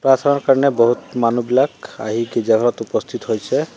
প্ৰাৰ্থনাৰ কাৰণে বহুত মানুহবিলাক আহি গীৰ্জাঘৰত উপস্থিত হৈছে।